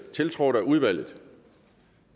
tiltrådt af udvalget